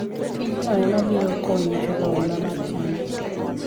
Tijino ema biro konyi chulo hola mar chadi.